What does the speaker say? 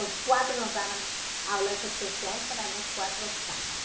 Os quatro nos davam aulas especiais para nós quatro sábado.